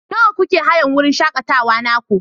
Nawa kuke hayan wurin shakatawa naku?